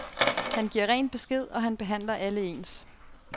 Han giver ren besked, og han behandler alle ens.